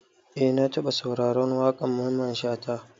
Eh na taba sauraron waƙar Mamman Shata.